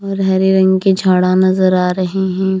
और हरे रंग के झाड़ां नजर आ रहें हैं।